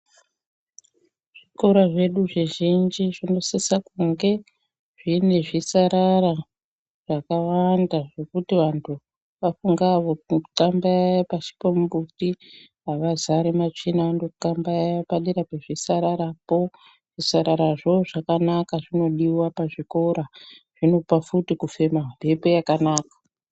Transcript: Zvikora zvedu zvizhinji zvinosisa kunge zvine zvisarara zvakawanda zvekuti vantu vafunga kuxambaya pashi pemumbuti avazari matsvina vanondoxambaya padera pezvisararapo, zvisararazvo zvinodiwa pazvikora zvinopa futi kufema mhepo yakanaka.